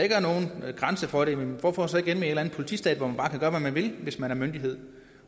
ikke er nogen grænse for det jamen hvorfor så ikke en eller anden politistat hvor man bare kan gøre hvad man vil hvis man er myndighed